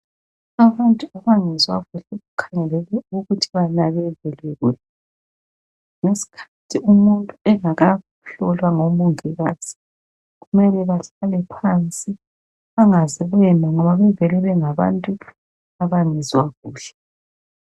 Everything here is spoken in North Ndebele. Abantu abangezwa kuhle kukhangelelwe ukuthi banakekelwe. Ngeskhathi umuntu engakahlolwa ngomongikazi, kumele bahlale phansi bangaze bema ngoba bevele bengabantu abangezwa kuhle.